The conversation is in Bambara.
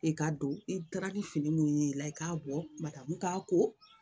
I ka don i taara ni fini minnu ye i la i k'a bɔ matamu k'a ko